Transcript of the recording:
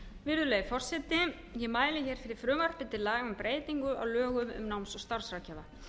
virðulegi forseti ég mæli fyrir frumvarpi til laga um breytingu á lögum um náms og starfsráðgjafa